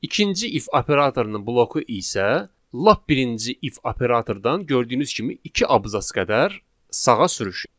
İkinci if operatorunun bloku isə lap birinci if operatordan gördüyünüz kimi iki abzas qədər sağa sürüşür.